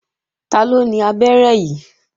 Taló ni abẹ́rẹ́ yìí?